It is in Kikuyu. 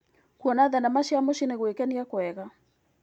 Kuona thenema cia mũciĩ nĩ gwĩkenia kwega.